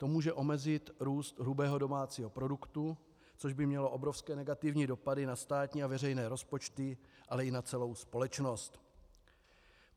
To může omezit růst hrubého domácího produktu, což by mělo obrovské negativní dopady na státní a veřejné rozpočty, ale i na celou společnost.